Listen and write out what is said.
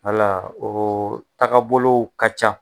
Wala o tagabolow ka ca.